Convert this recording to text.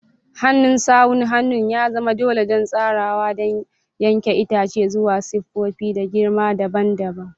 Hannun sawun hannu ya zama dole don tsarawa da yanke itace zuwa siffofi da girma dabam dabam.